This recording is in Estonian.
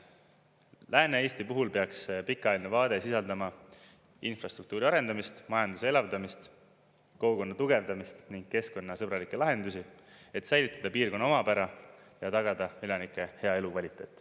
Lääne-Eesti puhul peaks pikaajaline vaade sisaldama infrastruktuuri arendamist, majanduse elavdamist, kogukonna tugevdamist ning keskkonnasõbralikke lahendusi, et säilitada piirkonna omapära ja tagada elanike hea elukvaliteet.